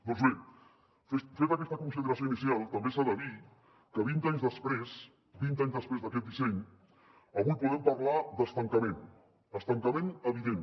doncs bé feta aquesta consideració inicial també s’ha de dir que vint anys després vint anys després d’aquest disseny avui podem parlar d’estancament estancament evident